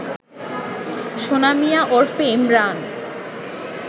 সোনা মিয়া ওরফে ইমরান